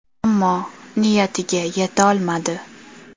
Ammo niyatiga yetolmadi.